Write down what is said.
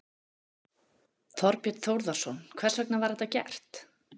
Þorbjörn Þórðarson: Hvers vegna var þetta gert?